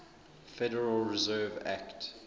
federal reserve act